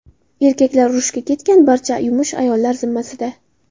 Erkaklar urushga ketgan, barcha yumush ayollar zimmasida.